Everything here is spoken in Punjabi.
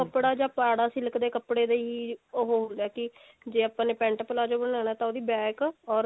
ਕੱਪੜਾ ਜਾ ਪੁਰਾਣਾ silk ਦੇ ਕੱਪੜੇ ਦੇ ਹੀ ਉਹ ਹੁੰਦਾ ਹੈ ਕਿ ਜੇ ਆਪਾਂ ਨੇ pent palazzo ਬਨਾਣਾ ਤੇ ਉਹਦੀ back or